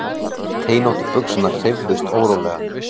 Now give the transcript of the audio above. Teinóttu buxurnar hreyfðust órólega.